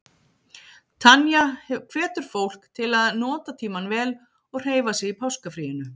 Tanya hvetur fólk til að nota tímann vel og hreyfa sig í páskafríinu.